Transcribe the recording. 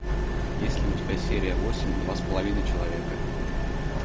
есть ли у тебя серия восемь два с половиной человека